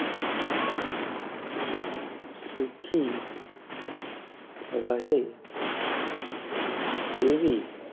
સુખી રહે તેવી